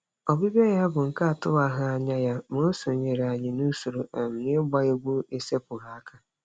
Ọbịbịa ya bụ nke atụwaghị anya ya, ma o sonyeere anyị n'usoro um ịgba egwu esepụghị aka.